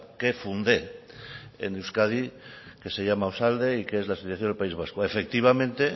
que fundé en euskadi que se llama osalde y que es la asociación del país vasco efectivamente